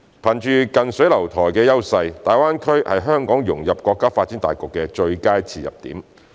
憑着近水樓台的優勢，大灣區是香港融入國家發展大局的最佳切入點。